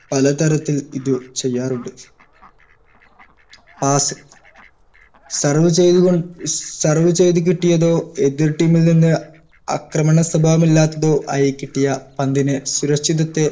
പലതരത്തിൽ ഇത് ചെയ്യാറുണ്ട് pass serve ചെയ്ത് കൊ serve ചെയ്ത് കിട്ടിയതോ എതിർ team ൽ നിന്ന് അക്രമണ സ്വഭാവമല്ലാത്തതോ ആയിക്കിട്ടിയ പന്തിനെ സുരക്ഷിതത്തെ